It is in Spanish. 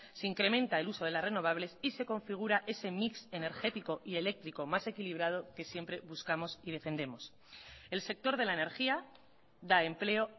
se incrementa el uso de las renovables y se configura ese mix energético y eléctrico más equilibrado que siempre buscamos y defendemos el sector de la energía da empleo